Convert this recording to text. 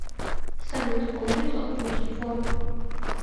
салют положить сотку на телефон